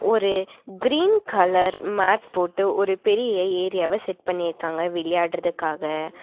ஒரு green colour mat போட்டு ஒரு பெரிய ஏரியாவ செட் பண்ணிருக்காங்க விளையாடுறதுக்காக.